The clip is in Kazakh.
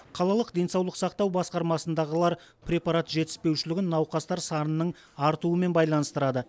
қалалық денсаулық сақтау басқармасындағылар препарат жетіспеушілігін науқастар санының артуымен байланыстырады